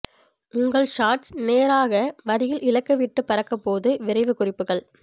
உங்கள் ஷாட்ஸ் நேராக வரியில் இலக்கு விட்டு பறக்க போது விரைவு குறிப்புகள்